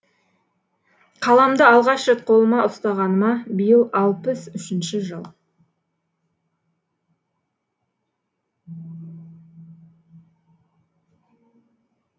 қаламды алғаш рет қолыма ұстағаныма биыл алпыс үшінші жыл